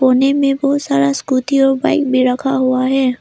कोने में बहुत सारा स्कूटी और बाइक भी रखा हुआ है।